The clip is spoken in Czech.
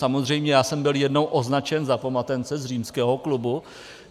Samozřejmě já jsem byl jednou označen za pomatence z Římského klubu.